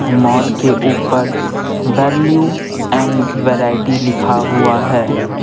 Mall के ऊपर value and variety लिखा हुआ है।